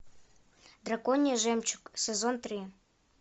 драконий жемчуг сезон три